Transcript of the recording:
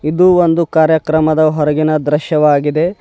ಇದು ಒಂದು ಕಾರ್ಯಕ್ರಮದ ಹೊರಗಿನ ದೃಶ್ಯವಾಗಿದೆ.